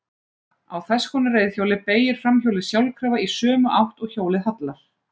Á þess konar reiðhjóli beygir framhjólið sjálfkrafa í sömu átt og hjólið hallar.